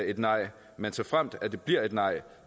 et nej men såfremt det bliver et nej